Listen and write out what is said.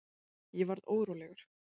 Ég varð órólegur.